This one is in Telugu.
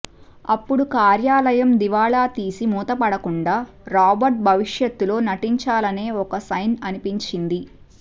అప్పుడు కార్యాలయం దివాళా తీసి మూతపడకుండా రాబర్ట్ భవిష్యత్తులో నటించాలనే ఒక సైన్ అనిపించింది